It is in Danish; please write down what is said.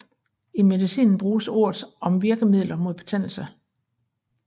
I medicinen bruges ordet om virkemidler mod betændelse